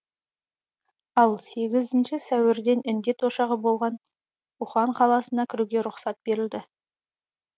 ал сегізінші сәуірден індет ошағы болған ухань қаласына кіруге рұқсат беріледі